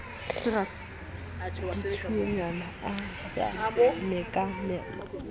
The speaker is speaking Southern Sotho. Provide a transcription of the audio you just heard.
ubella ditsuonyana a sa mekamekane